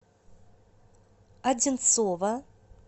одинцово